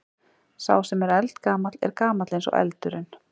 sá sem er eldgamall er gamall eins og eldurinn